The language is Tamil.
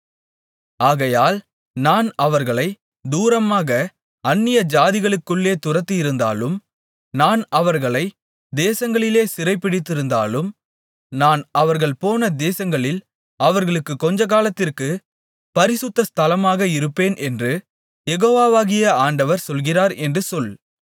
ஆகையால் நான் அவர்களைத் தூரமாக அந்நியஜாதிகளுக்குள்ளே துரத்தியிருந்தாலும் நான் அவர்களைத் தேசங்களிலே சிதறடித்திருந்தாலும் நான் அவர்கள் போன தேசங்களில் அவர்களுக்குக் கொஞ்சகாலத்திற்குப் பரிசுத்த ஸ்தலமாக இருப்பேன் என்று யெகோவாகிய ஆண்டவர் சொல்லுகிறார் என்று சொல்